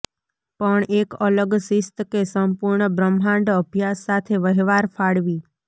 પણ એક અલગ શિસ્ત કે સંપૂર્ણ બ્રહ્માંડ અભ્યાસ સાથે વહેવાર ફાળવી